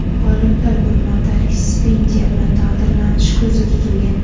G‘oliblar bir martalik stipendiya bilan taqdirlanishi ko‘zda tutilgan.